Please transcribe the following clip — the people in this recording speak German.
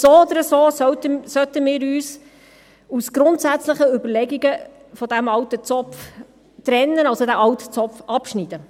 So oder so sollten wir uns aber aus grundsätzlichen Überlegungen von diesem alten Zopf trennen, diesen alten Zopf also abschneiden.